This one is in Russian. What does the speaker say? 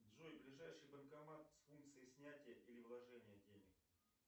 джой ближайший банкомат с функцией снятия или вложения денег